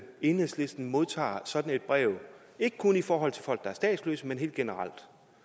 enhedslisten modtager sådan et brev ikke kun i forhold til folk der er statsløse men helt generelt